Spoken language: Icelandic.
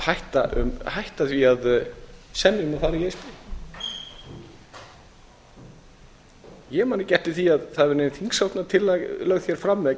hætta því að semja um að fara í e s b ég man ekki eftir því að það hafi nein þingsályktunartillaga verið lögð hér fram að